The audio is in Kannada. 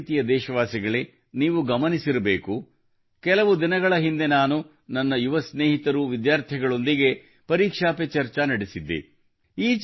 ನನ್ನ ಪ್ರೀತಿಯ ದೇಶವಾಸಿಗಳೇ ನೀವು ಗಮನಿಸಿರಬೇಕು ಕೆಲವು ದಿನಗಳ ಹಿಂದೆ ನಾನು ನನ್ನ ಯುವ ಸ್ನೇಹಿತರು ವಿದ್ಯಾರ್ಥಿಗಳೊಂದಿಗೆ ಪರೀಕ್ಷಾ ಪೆ ಚರ್ಚಾ ನಡೆಸಿದ್ದೆ